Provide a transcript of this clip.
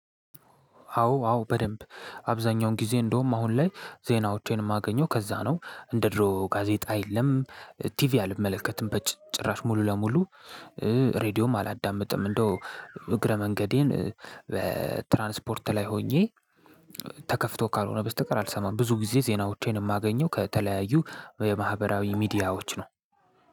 አዎ አዎ በደንብ አብዛኛውን ጊዜ እንደውም አሁን ላይ ዜናዎቼን እማገኘው ከዛ ነው እንደ ድሮው ጋዜጣ የለም። ቲቪ አልመለከትም በጭራሽ ሙሉ ለሙሉ። ሬድዮም አላዳመጠም እንደው እግረ መንገዴን በትራንስፖርት ላይ ሆኜ። ተከፍቶ ካልሆነ በስተቀር አልሰማም። ብዙ ጊዜ ዜናዎቼን የማገኘው ከተለያዩ የማህበራዊ ሚዲያዎች ነው።